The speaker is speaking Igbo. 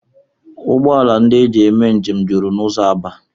Ụgbọala ndị e ji eme njem juru n'ụzọ Aba